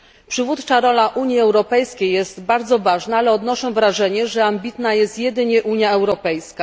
Przywódcza rola Unii Europejskiej jest bardzo ważna, ale odnoszę wrażenie, że ambitna jest jedynie Unia Europejska.